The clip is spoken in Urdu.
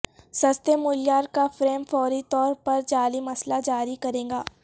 سستے معیار کا فریم فوری طور پر جعلی مسئلہ جاری کرے گا